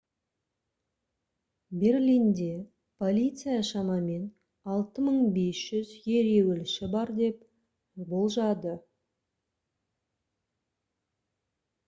берлинде полиция шамамен 6500 ереуілші бар деп болжады